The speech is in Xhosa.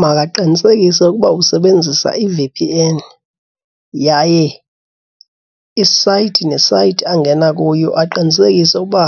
Makaqinisekise ukuba usebenzisa i-V_P_N yaye isayithi nesayithi angena kuyo aqinisekise uba